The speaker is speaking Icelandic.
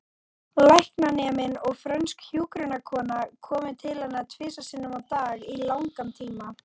Læknaneminn og frönsk hjúkrunarkona komu til hennar tvisvar sinnum á dag í langan tíma.